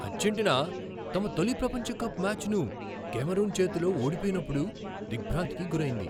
Argentina తమ తొలి ప్రపంచ కప్ మ్యాచ్ను కామెరూన్ చేతిలో ఓడిపోయినప్పుడు దిగ్భ్రాంతికి గురైంది.